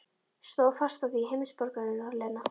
Stóð fast á því, heimsborgarinn Lena.